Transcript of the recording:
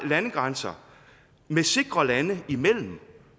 landegrænser med sikre lande imellem